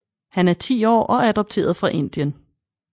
Han er 10 år og adopteret fra Indien